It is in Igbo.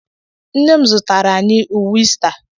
Nne m zụtara anyị uwe Ista.